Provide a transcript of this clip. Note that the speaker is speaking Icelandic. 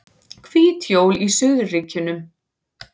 Hvít jól í suðurríkjunum